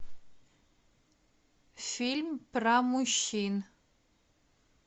фильм про мужчин